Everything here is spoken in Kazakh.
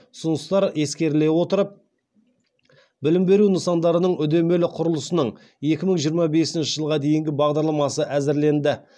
ұсыныстар ескеріле отырып білім беру нысандарының үдемелі құрылысының екі мың жиырма бесінші жылға дейінгі бағдарламасы әзірленді